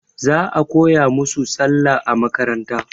Za a koya musu Sallah a makaranta.